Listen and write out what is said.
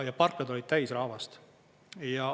Ja parklad olid täis rahvast.